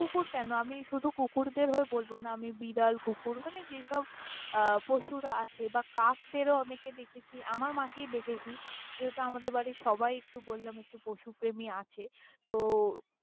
কুকুর কেন আমি শুধু কুকুরদের হয়ে বলব না, আমি বিড়াল কুকুর মানে যেই সব আহ পশুরা আছে বা কাক দরে ও অনেককে দেখেছি আমার মাকেই দেখেছি যেহেতু আমাদের বাড়ির সবাই একটু বল্লাম একটু পশু প্রেমী আছে, তো।